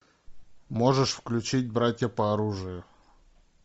можешь включить братья по оружию